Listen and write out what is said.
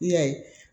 I y'a ye